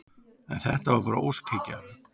En þetta var bara óskhyggja.